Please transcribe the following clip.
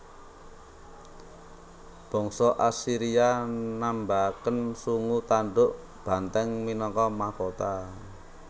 Bangsa Asiria nambahaken sungu tandhuk banthèng minangka mahkota